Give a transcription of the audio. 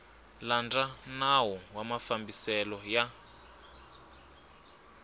landza nawu wa mafambiselo ya